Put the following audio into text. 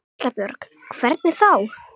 Erla Björg: Hvernig þá?